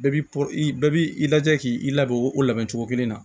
Bɛɛ bi po i bɛɛ b'i lajɛ k'i i labɛn o labɛn cogo kelen na